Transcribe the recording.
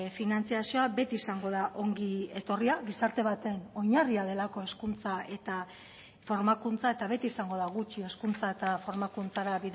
finantzazioa beti izango da ongi etorria gizarte baten oinarria delako hezkuntza eta formakuntza eta beti izango da gutxi hezkuntza eta formakuntzara